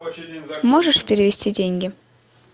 можешь перевести деньги